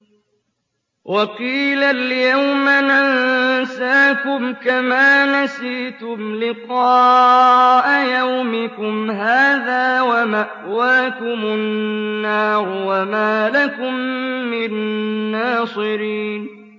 وَقِيلَ الْيَوْمَ نَنسَاكُمْ كَمَا نَسِيتُمْ لِقَاءَ يَوْمِكُمْ هَٰذَا وَمَأْوَاكُمُ النَّارُ وَمَا لَكُم مِّن نَّاصِرِينَ